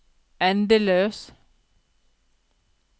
endeløs